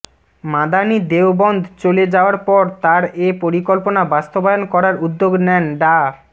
মাদানি দেওবন্দ চলে যাওয়ার পর তার এ পরিকল্পনা বাস্তবায়ন করার উদ্যোগ নেন ডা